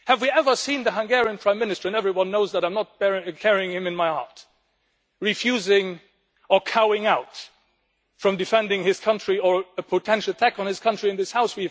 Have we ever seen the Hungarian Prime Minister and everyone knows that I am not carrying him in my heart refusing or cowing out from defending his country or a potential attack on his country in this House.